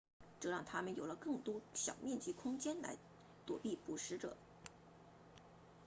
这让它们有了更多小面积空间来躲避捕食者